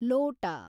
ಲೋಟ